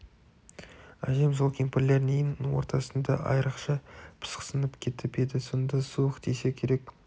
әжем сол кемпірлердің ен ортасында айрықша пысықсынып кетіп еді сонда суық тисе керек